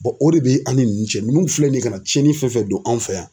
o de bɛ an ni ninnu cɛ ninnu filɛ nin ye ka na cɛnni fɛn fɛn don an fɛ yan.